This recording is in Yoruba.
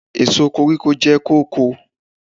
Èso koríko jẹ́ kóko.